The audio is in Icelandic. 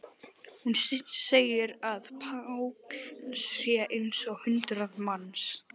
Hún segir að Páll sé eins og hundrað manns.